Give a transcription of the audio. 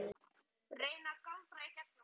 Reyni að galdra í gegnum það.